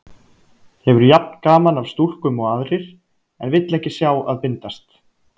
Hefur jafn gaman af stúlkum og aðrir, en vill ekki sjá að bindast.